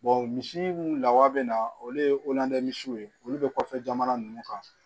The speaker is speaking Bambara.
misi mun lawa bɛ na olu ye misiw ye olu bɛ kɔfɛ jamana ninnu kan